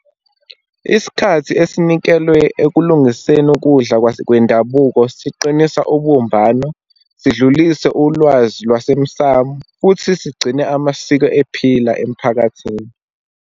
Isikhathi esinikelwe ekulungiseni ukudla kwendabuko siqinisa ubumbano, sidlulise ulwazi lwasemsamu, futhi sigcine amasiko ephila emphakathini.